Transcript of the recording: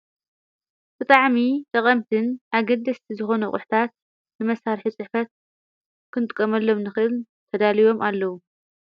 ተታዕሚ ተቐምትን ኣገድስቲ ዝኾነ ቑሕታት ንመሣርሒ ጽሕፈት ኽንጥቀመሎም ንኽል ተዳልዮም ኣለዉ።